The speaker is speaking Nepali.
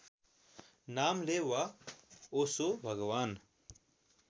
नामले वा ओशो भगवान